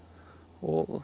og